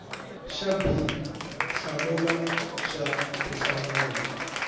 xa b hlamula xa tinhlamulo